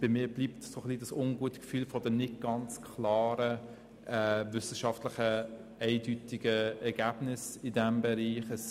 Bei mir bleibt das ungute Gefühl der nicht ganz eindeutigen wissenschaftlichen Ergebnisse in diesem Bereich bestehen.